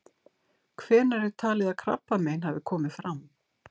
Hvenær er talið að krabbamein hafi komið fram?